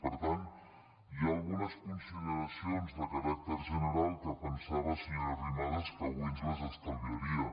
per tant hi ha algu·nes consideracions de caràcter general que pensava senyora arrimadas que avui ens les estalviaria